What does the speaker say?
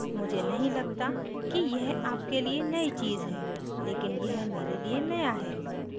मुझे नहीं लगता कि यह आपके लिए नयी चीज़ है लेकिन यह मेरे लिए नया है